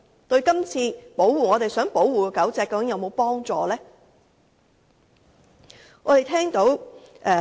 對於我們這次想保護的狗隻是否有幫助？